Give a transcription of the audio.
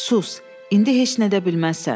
Sus, indi heç nə də bilməzsən.